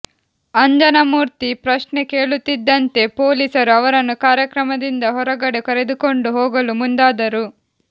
ಅಂಜನಮೂರ್ತಿ ಪ್ರಶ್ನೆ ಕೇಳುತ್ತಿದ್ದಂತೆ ಪೊಲೀಸರು ಅವರನ್ನು ಕಾರ್ಯಕ್ರಮದಿಂದ ಹೊರಗಡೆ ಕರೆದುಕೊಂಡು ಹೋಗಲು ಮುಂದಾದ್ರು